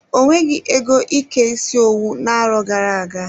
O nweghị ego ike isi owu na-arọ gara-aga.